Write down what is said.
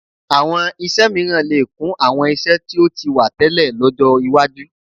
Àwọn iṣẹ́ mìíràn lè kún àwọn iṣẹ́ tí ó ti wà tẹ́lẹ̀ lọ́jọ́ iwájú